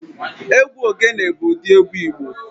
Egwu ogene bụ ụdị egwu Igbo